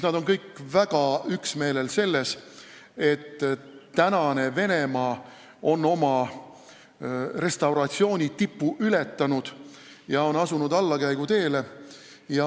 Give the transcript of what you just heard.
Nad on kõik üksmeelel selles, et tänane Venemaa on oma restauratsiooni tipu ületanud ja asunud allakäiguteele.